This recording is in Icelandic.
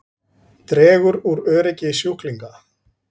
Flestir kjósa að nefna fyrirbærið núvitund en árvekni er einnig algengt.